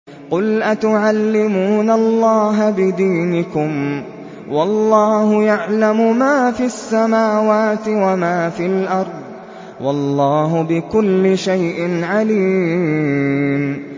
قُلْ أَتُعَلِّمُونَ اللَّهَ بِدِينِكُمْ وَاللَّهُ يَعْلَمُ مَا فِي السَّمَاوَاتِ وَمَا فِي الْأَرْضِ ۚ وَاللَّهُ بِكُلِّ شَيْءٍ عَلِيمٌ